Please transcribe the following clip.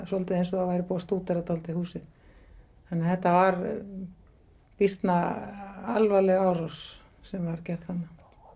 svolítið eins og það væri búið að stúdera húsið þannig að þetta var býsna alvarleg árás sem var gerð þarna